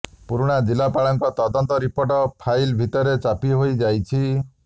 ପୁରୁଣା ଜିଲ୍ଲାପାଳଙ୍କ ତଦନ୍ତ ରିପୋର୍ଟ ଫାଇଲ ଭିତରେ ଚାପି ହୋଇଯାଇଛି